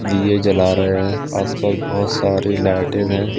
दिये जला रहे हैं आस पास बहोत सारे लाइटिंग हैं।